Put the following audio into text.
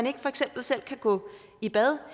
ikke for eksempel selv kan gå i bad